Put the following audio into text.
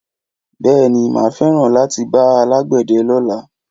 Bèéní, ma feran lati bá alàgbéde lõlá